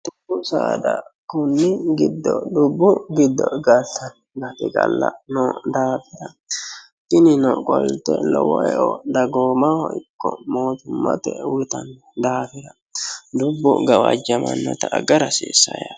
Dubbu saada kinni giddo galtanno tinino qolte lowo eo dagoomaho ikko mootummate uuyitanno daafira dubbu gawajjamannota agara hasiissanno.